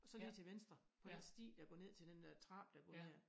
Så lige til venstre på den sti der går ned til den dér trappe der går ned af